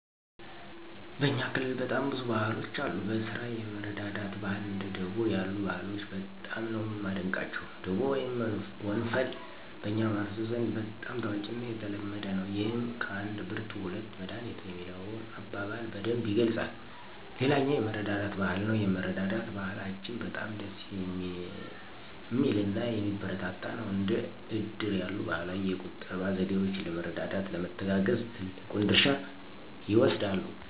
በእኛ ክልል በጣም ብዙ ባህሎች አሉ። በስራ የመረዳዳት ባህል እንደ ደቦ ያሉ ባህሎች በጣም ነው ማደንቀቸው። ደቦ ወይም ወንፈል በኛ ማህበረሰብ ዘንድ በጣም ታዋቂና የተለመደ ነው። ይህም ከአንድ ብርቱ ሁለት መዳኒቱ የሚለውን አበባል በደንብ ይገልፃል። ሌላኛው የመረዳዳት ባህል ነው የመረዳዳት ባህላችን በጣም ደስ ሚልናየሚበረታታ ነው። እንደ እድር ያሉ ባህላዊ የቁጠባ ዘዴወች ለመረዳዳት፣ ለመተጋገዝ ትልቁን ድርሻ ይወስዳሉ።